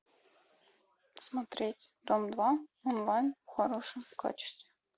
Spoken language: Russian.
смотреть дом два онлайн в хорошем качестве